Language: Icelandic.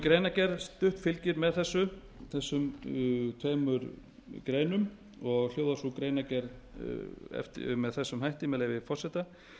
greinargerð fylgir með þessum tveimur greinum og hljóðar sú greinargerð með þessum hætti með leyfi forseta